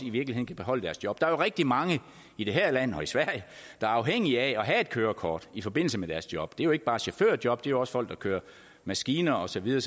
i virkeligheden kan beholde deres job der er jo rigtig mange i det her land og i sverige der er afhængige af at have et kørekort i forbindelse med deres job det gælder ikke bare chaufførjob det er også folk der kører maskiner og så videre